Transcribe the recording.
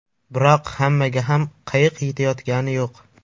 Biroq hammaga ham qayiq yetayotgani yo‘q.